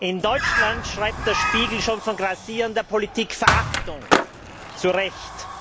In Deutschland schreibt Der Spiegel schon von grassierender Politikverachtung zu Recht.